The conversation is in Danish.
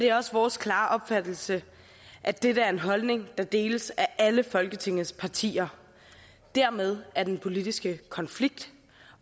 er også vores klare opfattelse at dette er en holdning der deles af alle folketingets partier dermed er den politiske konflikt